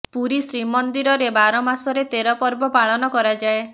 ପୁରୀ ଶ୍ରୀମନ୍ଦିରରେ ବାର ମାସରେ ତେର ପର୍ବ ପାଳନ କରାଯାଏ